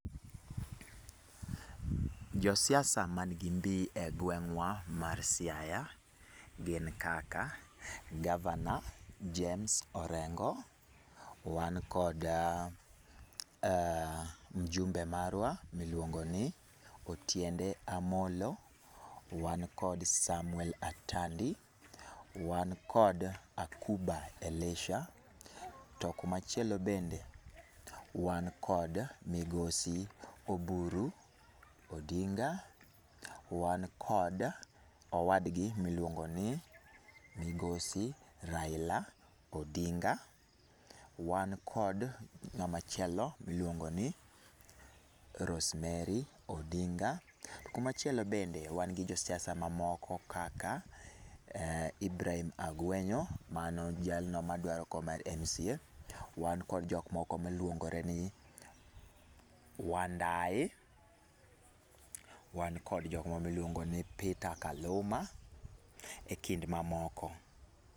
Jo siasa man gi mbi e gweng'wa mar Siaya gin kaka gavana James Orengo. Wan kod mjumbe marwa miluongo ni Otiende Amollo, wan kod Samuel Atandi, wan kod Akuba Elisha. To kumachielo bende wan kod migosi Oburu Odinga, wan kod owadgi miluongo ni migosi Raila Odinga, wan kod ng'ama chielo miluongo ni Rosemary Odinga. Kuma chielo bende wan gi josiasa mamoko kaka Ibrahim Agwenyo, mano jalno madwaro kom mar MCA. Wan kod jok moko miluongore ni Wandayi, wan kod jok moko miluongo ni Peter Kaluma, e kind mamoko.